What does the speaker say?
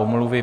Omluvy.